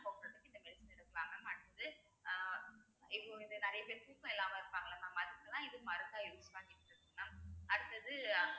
பேசிட்டு இருந்தாங்~ mam அடுத்து ஆஹ் இப்பொழுது நிறைய பேர் தூக்கம் இல்லாம இருப்பாங்கல்லே mam அதுக்குத்தான் இது மருந்தா use பண்ணிட்டு இருக்கு mam அடுத்தது